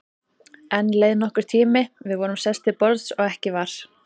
Enn leið nokkur tími, við vorum sest til borðs og ekki var